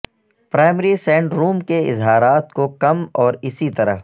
primary syndrome کے اظہارات کو کم اور اسی طرح